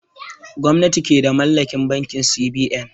Gwamnati ke da mallakin bankin C.B.N